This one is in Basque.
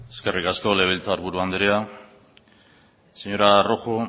eskerrik asko legebiltzar buru andrea señora rojo